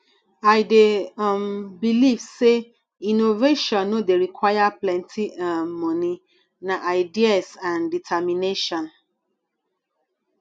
i dey um believe say innovation no dey require plenty um monie na ideas and determination